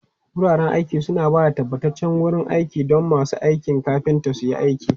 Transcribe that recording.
Wuraren aiki suna ba da tabbataccen wurin aiki don masu aikin kafinta su yi aiki.